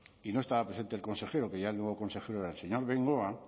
y no estaba presente el consejero que ya el nuevo consejero era el señor bengoa